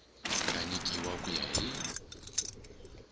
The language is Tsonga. nga nyikiwa ku ya hi